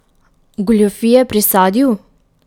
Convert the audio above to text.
Goljufije pri sadju?